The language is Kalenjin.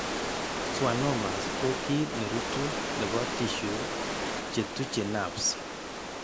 Schwannomas ko kiiy ne ruutu nebo tissue che tuuche nerves .